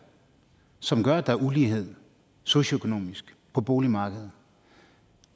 som gør at der er ulighed socioøkonomisk på boligmarkedet